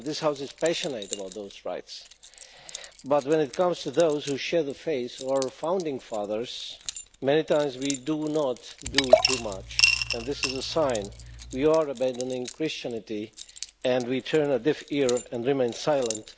And this House is passionate about those rights. But when it comes to those who share the faith of our founding fathers, many times we do not do too much, and this is a sign we are abandoning Christianity, we turn a deaf ear and remain silent.